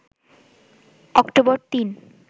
October ৩